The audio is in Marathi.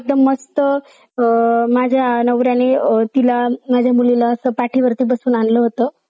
असं news वर आपलेल्या बघायला मिडत आहे जे की अह